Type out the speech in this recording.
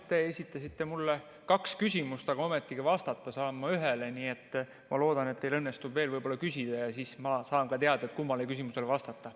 Te esitasite mulle kaks küsimust, aga ometigi vastata saan ma ühele, nii et ma loodan, et teil õnnestub veel küsida ja siis ma saan ka teada, kummale küsimusele vastata.